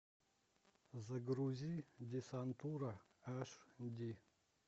загрузи десантура аш ди